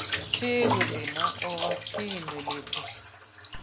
Sigurlína og var pínulítil.